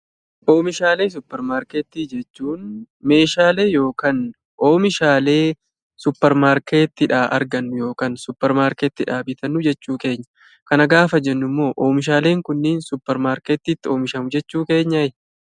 Oomishaalee suuparmaarketii jechuun meeshaalee yookaan oomishaalee suuparmaarketiidhaa argannu yookaan suuparmaarketiidhaa bitannu jechuu keenya. Kana gaafa jennummoo oomishaaleen kunniin suuparmaarketiitti oomishamu jechuu keenyaayi?